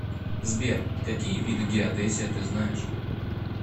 сбер какие виды геодезия ты знаешь